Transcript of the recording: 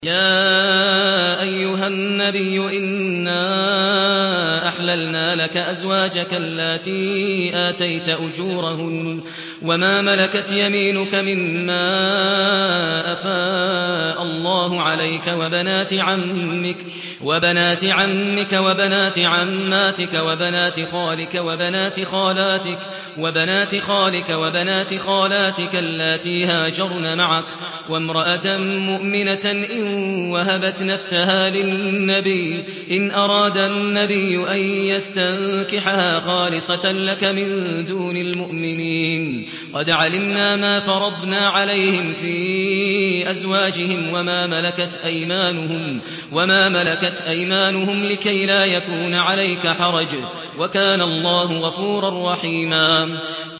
يَا أَيُّهَا النَّبِيُّ إِنَّا أَحْلَلْنَا لَكَ أَزْوَاجَكَ اللَّاتِي آتَيْتَ أُجُورَهُنَّ وَمَا مَلَكَتْ يَمِينُكَ مِمَّا أَفَاءَ اللَّهُ عَلَيْكَ وَبَنَاتِ عَمِّكَ وَبَنَاتِ عَمَّاتِكَ وَبَنَاتِ خَالِكَ وَبَنَاتِ خَالَاتِكَ اللَّاتِي هَاجَرْنَ مَعَكَ وَامْرَأَةً مُّؤْمِنَةً إِن وَهَبَتْ نَفْسَهَا لِلنَّبِيِّ إِنْ أَرَادَ النَّبِيُّ أَن يَسْتَنكِحَهَا خَالِصَةً لَّكَ مِن دُونِ الْمُؤْمِنِينَ ۗ قَدْ عَلِمْنَا مَا فَرَضْنَا عَلَيْهِمْ فِي أَزْوَاجِهِمْ وَمَا مَلَكَتْ أَيْمَانُهُمْ لِكَيْلَا يَكُونَ عَلَيْكَ حَرَجٌ ۗ وَكَانَ اللَّهُ غَفُورًا رَّحِيمًا